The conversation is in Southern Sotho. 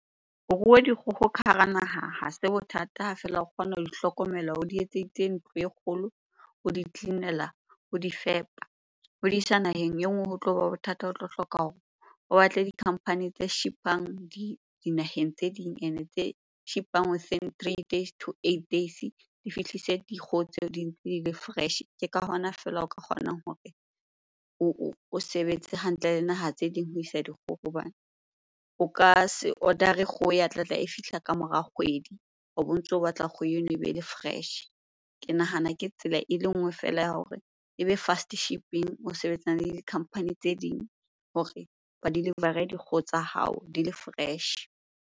Ho rua dikgoho ka hara naha ha se bothata ha feela o kgona ho di hlokomela, o di etseditse ntlo e kgolo, o di-clean-ela, o di fepa. Ho di isa naheng e nngwe ho tloba bothata o tlo hloka hore o batle di-company tse ship-ang dinaheng tse ding ene tse ship-ang within three days to eight days. Di fihlise dikgoho tseo di ntse di le fresh-e. Ke ka hona feela o ka kgonang hore o sebetse hantle le naha tse ding ho isa dikgoho. Hobane o ka se order-e kgoho ya tlatla e fihla ka mora kgwedi obo ntso batla kgoho eno e be le fresh. Ke nahana ke tsela e le nngwe feela ya hore e be fast shipping, o sebetsane le di-company tse ding hore ba deliver-re dikgoho tsa hao di le fresh.